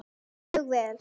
Mjög vel.